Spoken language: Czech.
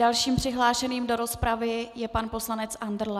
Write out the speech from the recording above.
Dalším přihlášeným do rozpravy je pan poslanec Andrle.